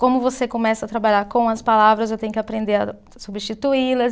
Como você começa a trabalhar com as palavras, eu tenho que aprender a substituí-las.